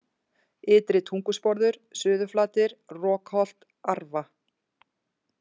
Ytri-Tungusporður, Suðurflatir, Rokholt, Arfa